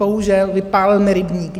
Bohužel, vypálil mi rybník.